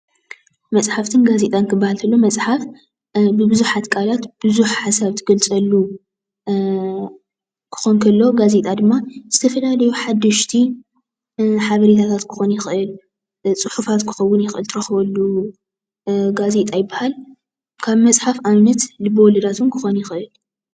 መፅሓፈትን ጋዜጣን ክበሃል ከሎ መፅሓፍ ብብዝሓት ቃላት ብዙሕ ሓሳብ ዝገልፀሉ ክኾን ከሎ፣ ጋዜጣ ድማ ዝተፈላለዩ ሓደሽቲ ሓበሬታት ክኾን ይኽእል፣ ፅሑፋት ክኾን ይኽእል እንትረክበሉ ጋዜጣ ይበሃል። ካብ መፅሓፍ ኣብነት ልበ ወለዳት እውን ክኾን ይኽእል።